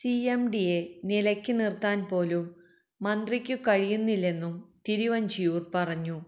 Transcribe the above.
സിഎംഡിയെ നിലക്ക് നിർത്താൻ പോലും മന്ത്രിക്കു കഴിയുന്നില്ലെന്നും തിരുവഞ്ചൂര് പറഞ്ഞു